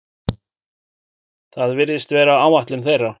Það virðist vera áætlun þeirra